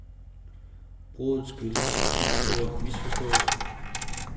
Bruddet skyldes en stor misforståelse.